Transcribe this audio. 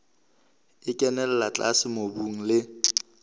e kenella tlase mobung le